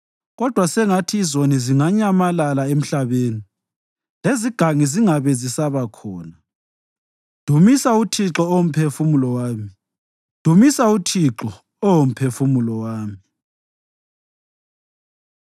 Kodwa sengathi izoni zinganyamalala emhlabeni lezigangi zingabe zisaba khona. Dumisa uThixo, Oh Mphefumulo wami. Dumisa uThixo, Oh Mphefumulo wami.